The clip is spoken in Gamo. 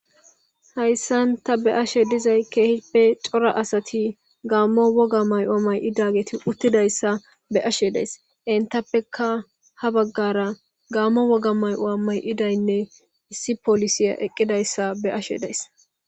hayssanta be7ashe dizay keehippe cora asati gaammo woga may7o may7idageti uttidayssa be ashe days entappeka ha baggara gaammo woga may7oa may7idaynne issi polisiya eqqidayssa be7ashe dayis